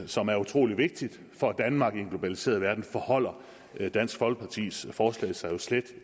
som er utrolig vigtig for danmark i en globaliseret verden forholder dansk folkepartis forslag sig jo slet